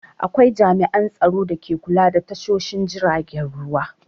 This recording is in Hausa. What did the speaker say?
Akwai jami'an tsaron dake kula da tashoshin jiragen ruwa.